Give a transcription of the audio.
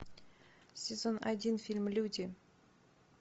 сезон один фильм люди